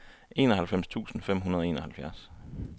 enoghalvfems tusind fem hundrede og enoghalvfjerds